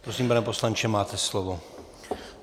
Prosím, pane poslanče, máte slovo.